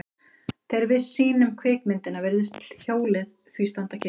Þegar við sýnum kvikmyndina virðist hjólið því standa kyrrt.